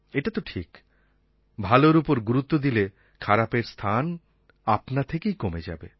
এটা তো ঠিক ভালোর ওপর গুরুত্ব দিলে খারাপের স্থান আপনা থেকেই কমে যাবে